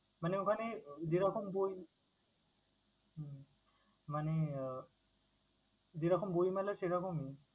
মানে ওখানে যেরকম বই হম মানে আহ যেরকম বই মেলা সেরকমই?